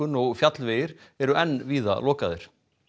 og fjallvegir eru enn víða lokaðir